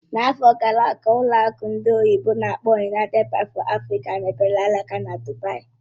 N'afọ gara aga, ụlọ akụ ndị oyibo n'akpọ "United Bank for Africa mepere alaka na Dubaì